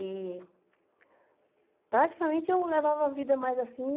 E... Praticamente, eu levava a vida mais assim...